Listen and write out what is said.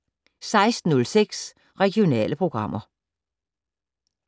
16:06: Regionale programmer